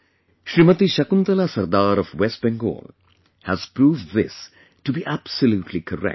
SmtShakuntalaSardar of West Bengal has proved this to be absolutely correct